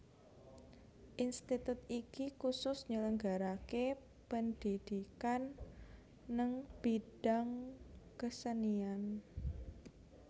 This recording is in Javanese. Institut iki kusus nyelenggaraake pendhidhikan neng bidang kesenian